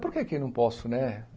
Por que que não posso, né?